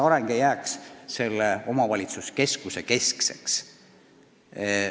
Areng ei tohi olla vaid omavalitsuse keskuse huvides.